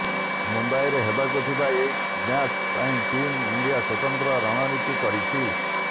ମୁମ୍ବାଇରେ ହେବାକୁ ଥିବା ଏହି ମ୍ୟାଚ ପାଇଁ ଟିମ୍ ଇଣ୍ଡିଆ ସ୍ୱତନ୍ତ୍ର ରଣନୀତି କରିଛି